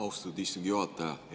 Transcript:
Austatud istungi juhataja!